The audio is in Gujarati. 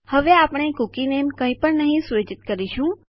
હવે આપણે કૂકી નામ કઈ પણ નહી સુયોજિત કરીશું